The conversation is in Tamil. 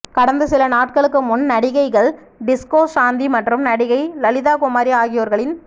கடந்த சில நாட்களுக்கு முன் நடிகைகள் டிஸ்கோ சாந்தி மற்றும் நடிகை லலிதாகுமாரி ஆகியோர்களின்